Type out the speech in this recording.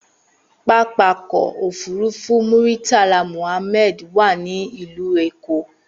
Pápákọ̀ òfúrufú Muritala Mohammed wà ní ìlú Èkó.